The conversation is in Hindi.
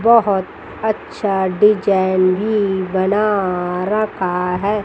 बहुत अच्छा डिजाइन भी बना रखा है।